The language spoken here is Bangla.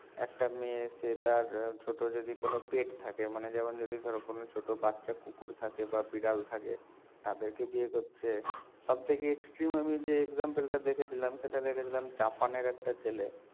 একটা মেয়ের চেয়ে তার ছোট যদি কোনো pet থাকে মানে যেমন যদি ধরো কোনো ছোট বাচ্চা কুকুর থাকে বা বিড়াল থাকে তাদের কে বিয়ে করছে সব থেকে extreme আমি যে example টা দেখেছিলাম সেটা দেখেছিলাম জাপান এর একটা ছেলে